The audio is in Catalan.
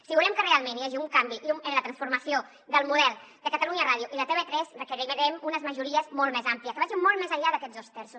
si volem que realment hi hagi un canvi en la transformació del model de catalunya ràdio i de tv3 requerirem unes majories molt més àmplies que vagin molt més enllà d’aquests dos terços